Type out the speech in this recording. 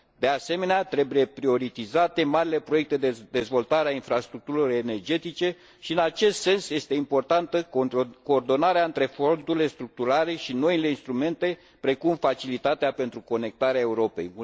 De asemenea, trebuie prioritizate marile proiecte de dezvoltare a infrastructurilor energetice și, în acest sens, este importantă coordonarea între fondurile structurale și noile instrumente, precum facilitatea Conectarea Europei.